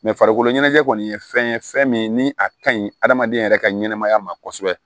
farikolo ɲɛnajɛ kɔni ye fɛn ye fɛn min ni a ka ɲi hadamaden yɛrɛ ka ɲɛnɛmaya ma kosɛbɛ